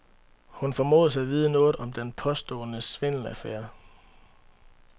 Hun formodes at vide noget om den påståede svindelaffære.